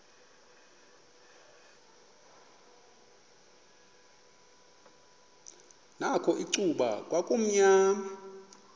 nakho icuba kwakumnyama